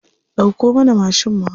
Dauko mana mashin mu hau.